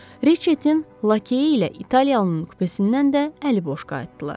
Reçetin lakeyi ilə İtaliyalının kupesindən də əli boş qayıtdılar.